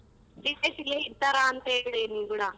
Three days ಇರ್ತಾರೆ ಅಂತ ಹೇಳಿನಿ ಕೂಡ.